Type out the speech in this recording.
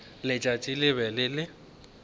letšatši le be le le